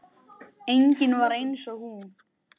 Engin var eins og hún.